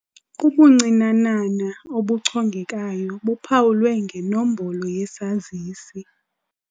Ubuncinanana obuchongekayo buphawulwe ngenombolo yesazisi.